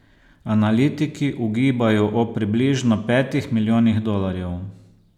Analitiki ugibajo o približno petih milijonih dolarjev.